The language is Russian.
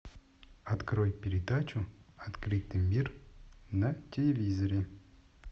открой передачу открытый мир на телевизоре